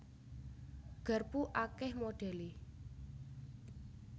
Garpu akèh modhèlé